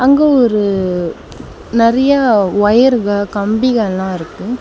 இங்க ஒரு நறிய வொயர்க கம்பீகலா இருக்கு.